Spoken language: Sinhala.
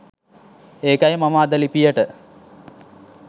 ඒකයි මම අද ලිපියට